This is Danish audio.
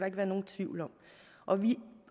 ikke være nogen tvivl om vi